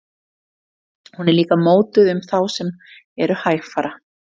Hún er líka notuð um þá sem eru hægfara.